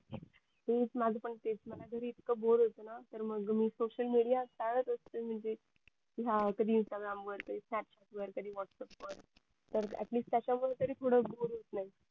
तेच माझं पण तेच मला घरी इतकं बोर होत ना तर मग मी social media चाडत असते म्हणजे हा कधी instagram वर कधी snapchat वर कधी whatsapp वर तर at least त्याच्यामुळे तरी थोडं बोर होत नाही